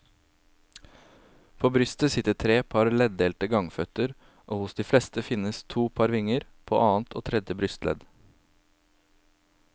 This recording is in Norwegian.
På brystet sitter tre par leddelte gangføtter og hos de fleste finnes to par vinger, på annet og tredje brystledd.